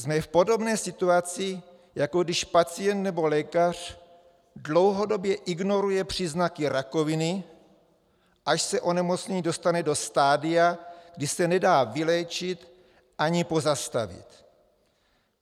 Jsme v podobné situaci, jako když pacient nebo lékař dlouhodobě ignoruje příznaky rakoviny, až se onemocnění dostane do stadia, kdy se nedá vyléčit ani pozastavit.